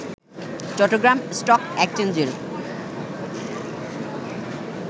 Chittagong stock এক্সচেঞ্জের